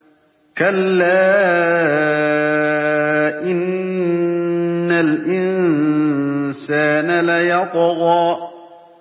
كَلَّا إِنَّ الْإِنسَانَ لَيَطْغَىٰ